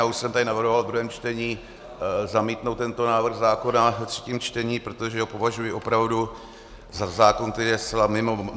Já už jsem tady navrhoval v druhém čtení zamítnout tento návrh zákona ve třetím čtení, protože ho považuji opravdu za zákon, který je zcela mimo.